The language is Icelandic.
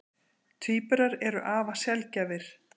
Tvíburar eru afar sjaldgæfir.